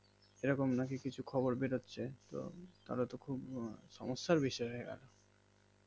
এইরকম নাকি কিছু খবর বের হচ্ছে তো তাহলে তো খুব সমস্যার বিষয় হয়ে গেল